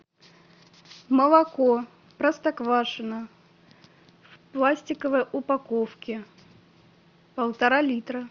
молоко простоквашино в пластиковой упаковке полтора литра